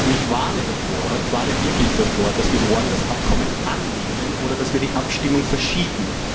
Ich warne davor, ich warne wirklich davor, dass wir morgen das Abkommen annehmen oder die Abstimmung verschieben.